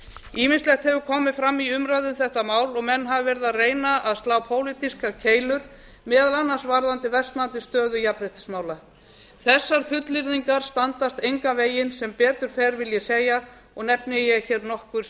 ýmislegt hefur komið fram í umræðu um þetta mál og menn hafa reynt að slá pólitískar keilur meðal annars varðandi versnandi stöðu jafnréttismála þessar fullyrðingar standast engan veginn sem betur fer vil ég segja og nefni ég hér nokkur